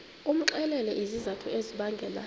umxelele izizathu ezibangela